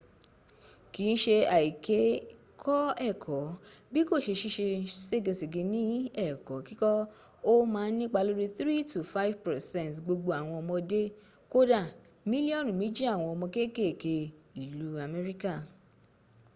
kìn ṣe àìkè kọ́ ẹ̀kọ́ bí kò ṣe ṣìṣe ségeṣège ní ẹ̀kọ́ kíkọ́ ó ma ń nípa lórí 3-5 percent gbogbo àwọn ọmọdé kódà mílíọ́nù méjì àwọn ọmọ kékèké ìlú amékíkà